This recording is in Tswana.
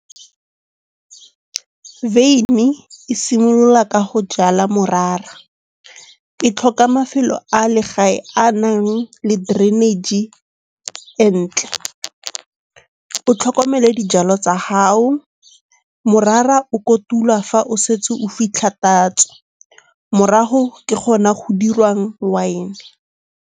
Veine e simolola ka go jala morara. E tlhoka mafelo a le gae a nang le drainage-e entle. O tlhokomele dijalo tsa gago. Morara o kotulwa fa o setse o fitlha tatso, morago ke gona go dirwang wine-e.